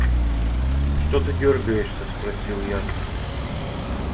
что ты дёргаешься спросил я